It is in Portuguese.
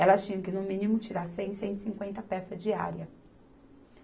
Elas tinham que, no mínimo, tirar cem, cento e cinquenta peças diárias.